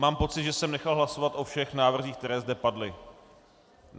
Mám pocit, že jsem nechal hlasovat o všech návrzích, které zde padly.